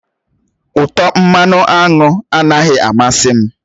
Utọ mmanụ aṅụ anaghị amasị m